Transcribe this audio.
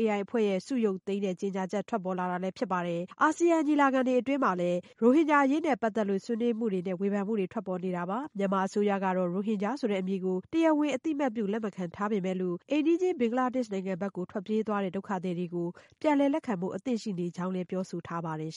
AI အဖွဲ့ရဲ့ ဆုရုပ်သိမ်းတဲ့ ကြေညာချက် ထွက်ပေါ်လာတာလည်း ဖြစ်ပါတယ်။ Asean ညီလာခံအတွင်းမှာလည်း ရိုဟင်ဂျာအရေးနဲ့ ပတ်သက်လို့ ဆွေးနွေးမှုတွေနဲ့ ဝေဖန်မှုတွေထွက်ပေါ်နေတာပါ။ မြန်မာအစိုးရကတော့ ရိုဟင်ဂျာဆိုတဲ့ အမည်ကို တရားဝင်အသိအမှတ်ပြု လက်ခံမထားပေမဲ့ အိမ်နီးချင်း ဘင်္ဂလားဒေ့ရှ်နိုင်ငံကို ထွက်ပြေးသွားတဲ့ ဒုက္ခသည်တွေကို ပြန်လည်လက်ခံဖို့ အသင့်ရှိနေကြောင်းလည်း ပြောဆိုထားပါတယ်